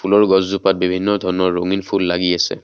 ফুলৰ গছজোপাত বিভিন্ন ধৰণৰ ৰঙীন ফুল লাগি আছে।